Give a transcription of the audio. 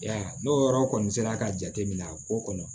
Ya n'o yɔrɔ kɔni sera ka jate minɛ a ko kɔnɔ